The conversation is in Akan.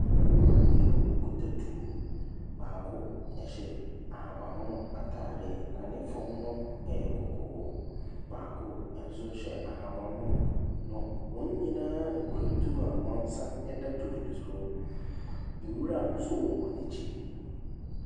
Mmarima mmienu a wɔkita tuo. Baako hyɛ ahabammono atadeɛ, na ne fam no yɛ kɔkɔɔ. Baako nso hyɛ ahabammono, na wɔn nyinaa kura tuo a wɔn nsa ta tuo no so. Nwura nso wɔ wɔn akyi.